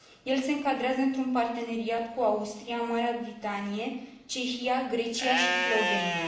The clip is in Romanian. El se încadrează într un parteneriat cu Austria, Marea Britanie, Cehia, Grecia și Slovenia.